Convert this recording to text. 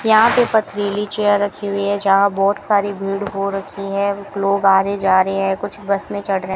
यहां पर पथरीली चेयर रखी हुई है जहां बहुत सारी भीड़ हो रखी है लोग आ रहे है जा रहे हैं कुछ बस में चढ़ रहे है।